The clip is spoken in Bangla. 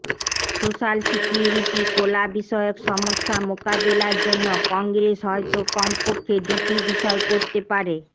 সোশ্যাল সিকিউরিটি কোলা বিষয়ক সমস্যা মোকাবেলার জন্য কংগ্রেস হয়তো কমপক্ষে দুটি বিষয় করতে পারে